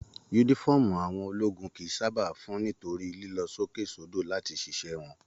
Yúnífọ̀ọ́mù àwọn ológun kìí sábà fún nítorí lilọ sókè sodo láti ṣiṣẹ wọn.